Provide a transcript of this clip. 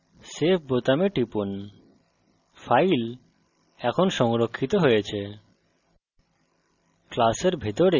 এখন save বোতামে টিপুন file এখন সংরক্ষিত হয়েছে